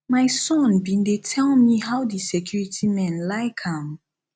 my son bin dey tell me how the security men like am